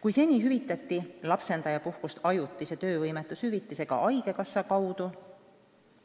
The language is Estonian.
Kui seni hüvitati lapsendajapuhkust ajutise töövõimetushüvitisega haigekassa kaudu,